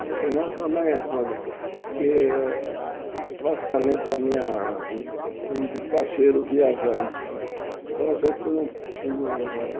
Mas senão também é coisa... Porque praticamente a minha vida é meio de cacheiro viajante, Uhum então a gente não não não